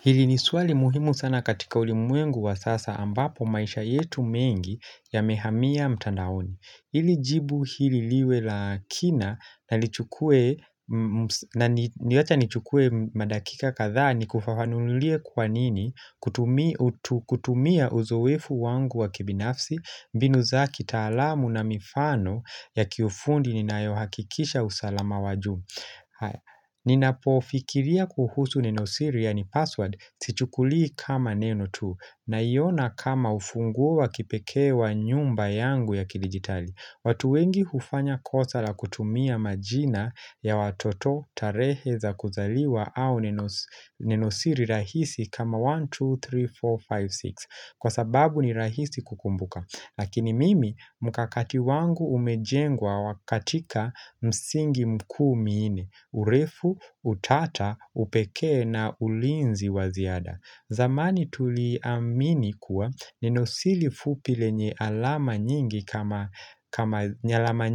Hili ni swali muhimu sana katika ulimwengu wa sasa ambapo maisha yetu mengi ya mehamia mtandaoni. Hili jibu hili liwe lakina na niwacha nichukue madakika kadhaa nikufafanulie kwanini kutumia uzoefu wangu wa kibinafsi mbinu za kitaalamu na mifano ya kiufundi ni nayohakikisha usalama wajuu. Nina pofikiria kuhusu Nenosiri ya ni password Sichukuli kama Neno tu naiona kama ufunguo kipekee wa nyumba yangu ya kidigitali watu wengi hufanya kosa la kutumia majina ya watoto tarehe za kuzaliwa au Nenosiri rahisi kama 1, 2, 3, 4, 5, 6 Kwa sababu ni rahisi kukumbuka Lakini mimi mkakati wangu umejengwa wakatika msingi mkuu mnne urefu, utata, upekee na ulinzi waziada zamani tuliamini kuwa nenosiri fupile nye alama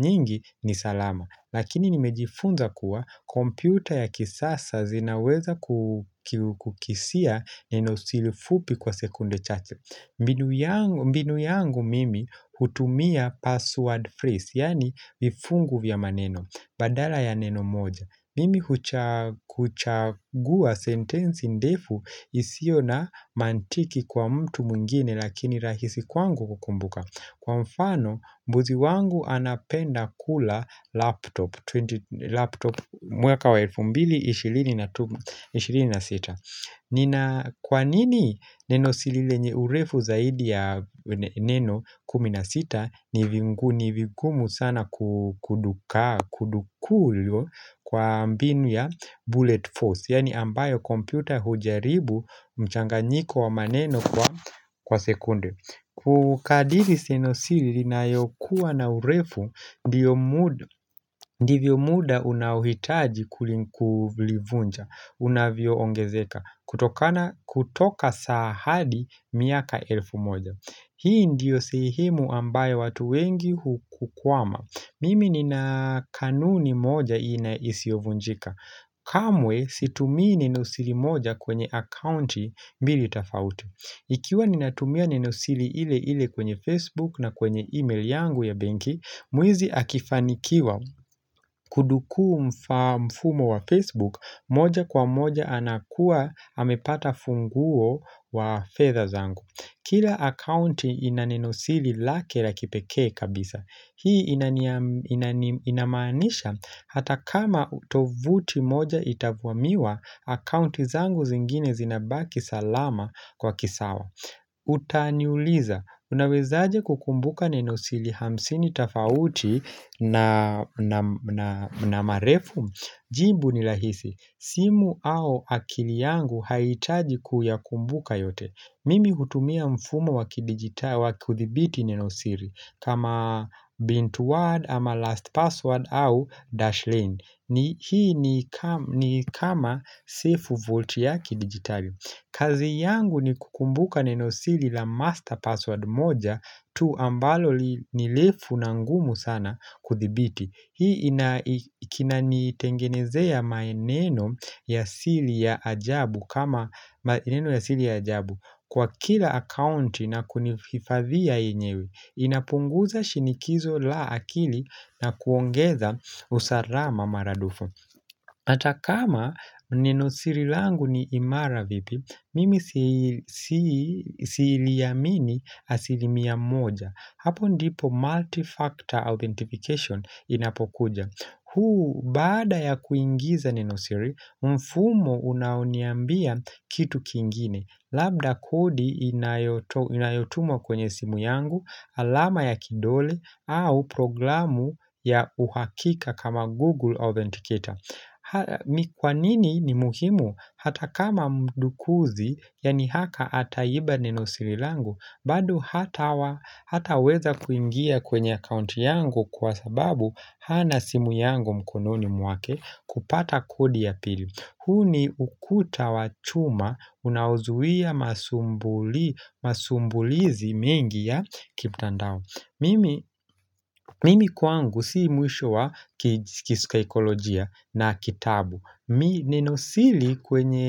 nyingi ni salama Lakini nimejifunza kuwa kompyuta ya kisasa zinaweza kukisia nenosili fupi kwa sekunde chache mbinu yangu mbinu yangu mimi hutumia password phrase, yani vifungu vya maneno, badala ya neno moja Mimi kuchagua sentensi ndefu isiyo na mantiki kwa mtu mwingine lakini rahisi kwangu kukumbuka Kwa mfano mbuzi wangu anapenda kula laptop laptop mwaka wa elfu mbili ishirini na sita Kwa nini nenosiri lenye urefu zaidi ya neno kuminasita ni vigumu sana kudukuliwa kwa mbinu ya bullet force Yani ambayo kompyuta hujaribu mchanganyiko wa maneno kwa sekunde Kukadizi nenosiri lina yo kuwa na urefu ndivyo muda unaohitaji kulivunja unavyo ongezeka kutoka saa hadi miaka elfu moja Hii ndiyo sehemu ambayo watu wengi hukwama Mimi ni na kanuni moja hii na isiyovunjika kamwe situmii nenosiri moja kwenye akaunti mbili tofauti Ikiwa ninatumia nenosiri ile ile kwenye Facebook na kwenye email yangu ya benki Mwizi akifanikiwa kuduku mfumo wa Facebook moja kwa moja anakua amepata funguo wa fedha zangu Kila akaunti inanenosili lake la kipekee kabisa Hii inamaanisha hata kama tovuti moja itavamiwa akaunti zangu zingine zinabaki salama kwa kisawa Utaniuliza, unawezaje kukumbuka nenosiri hamsini tofauti na marefu Jibu ni rahisi, simu au akili yangu haiitaji kuyakumbuka yote Mimi kutumia mfumo wakidigitali, wakuthibiti nenosiri kama bint word ama last password au dash lane ni hii ni kama sifu volti ya kidigitali kazi yangu ni kukumbuka nenosiri la master password moja tu ambalo nirefu na ngumu sana kuthibiti. Hii inaikina nitengenezea maneno ya siri ya ajabu kwa kila account na kunifadhia yenyewe. Inapunguza shinikizo la akili na kuongeza usalama maradufu. Hatakama nenosiri langu ni imara vipi, mimi siiliamini asilimia moja. Hapo ndipo multi-factor authentication inapokuja. Huu, baada ya kuingiza nenosiri, mfumo unaoniambia kitu kingine. Labda kodi inayotumwa kwenye simu yangu, alama ya kidole, au programu ya uhakika kama Google Authenticator. Nikwanini ni muhimu hata kama mdukuzi yani haka hacker akaiba neno sirilangu bado hata weza kuingia kwenye account yangu kwa sababu Hana simu yangu mkononi mwake kupata kodi ya pili huu ni ukuta wachuma unaozuia masumbulizi mengi ya kimtandao Mimi kwangu siyo mwisho wa kisaikolojia na kitabu Mimi nenosiri kwenye.